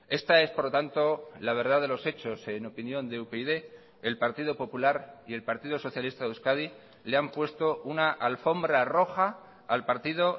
esta es por lo tanto la verdad de los hechos en opinión de upyd el partido popular y el partido socialista de euskadi le han puesto una alfombra roja al partido